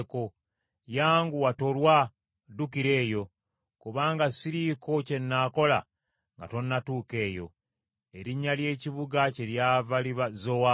Yanguwa tolwa, ddukira eyo; kubanga siriiko kye nnaakola nga tonnatuuka eyo.” Erinnya ly’ekibuga kyeryava liba Zowaali.